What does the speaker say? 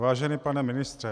Vážený pane ministře.